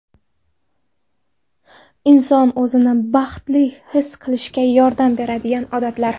Inson o‘zini baxtli his qilishga yordam beradigan odatlar.